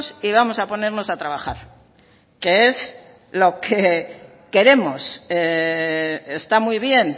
y vamos a ponernos a trabajar que es lo que queremos está muy bien